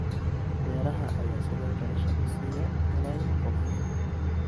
Beeraha ayaa sidoo kale shaqo siiya malaayiin qof.